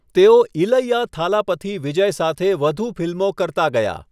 તેઓ ઇલૈયા થાલાપથી વિજય સાથે વધુ ફિલ્મો કરતા ગયા.